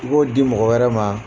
I b'o di mɔgɔ wɛrɛ ma.